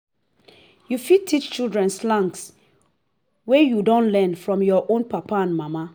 you fit teach children slangs wey you don learn from your own papa and mama